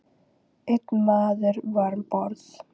Einn maður var um borð.